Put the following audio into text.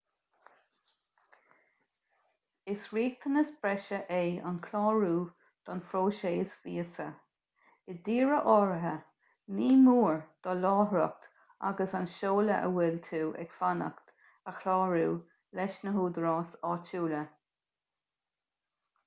is riachtanas breise é an clárú don phróiseas víosa i dtíortha áirithe ní mór do láithreacht agus an seoladh ag a bhfuil tú ag fanacht a chlárú leis na húdaráis áitiúla